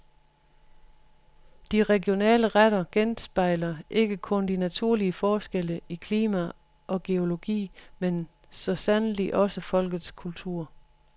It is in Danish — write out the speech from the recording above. De regionale retter genspejler ikke kun de naturlige forskelle i klima og geologi, men så sandelig også folkets kultur.